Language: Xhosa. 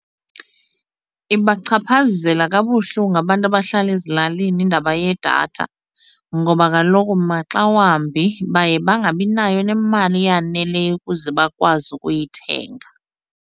Ibachaphazela kabuhlungu abantu abahlala ezilalini indaba yedatha ngoba kaloku maxa wambi baye bangabi nayo nemali eyaneleyo ukuze bakwazi ukuyithenga.